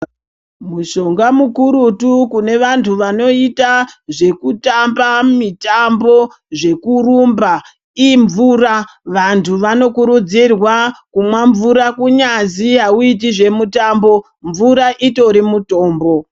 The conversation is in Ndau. Mushonga mukurutu kuvanthu vanoita mitambo zvekurumba imvura vanthu vanokurudzirwa kumwa mvura kunyazi auiti zvemutambo mvura utori mutombo.